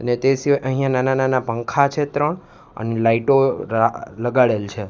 અને તે સિવાય અહ્યા નાના નાના પંખા છે ત્રણ અને લાઈટો રા લગાડેલ છે.